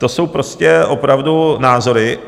To jsou prostě opravdu názory.